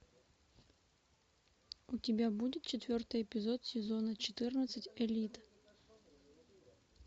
у тебя будет четвертый эпизод сезона четырнадцать элита